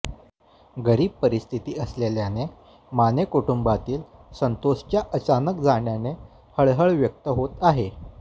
गरीब परिस्थिती असलेल्या माने कुटुंबातील संतोषच्या अचानक जाण्याने हळहळ व्यक्त होत आहे